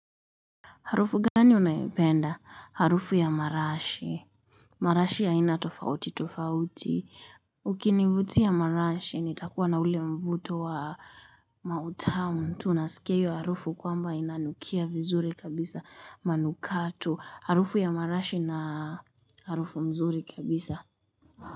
Harufu gani unaipenda? Harufu ya marashi. Marashi ya aina tofauti, tofauti. Ukinivutia marashi, nitakuwa na ule mvuto wa mautamu tu. Unasikia hiyo harufu kwamba inanukia vizuri kabisa manukato. Harufu ya marashi na harufu mzuri kabisa.